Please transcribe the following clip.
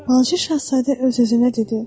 Balaca şahzadə öz-özünə dedi.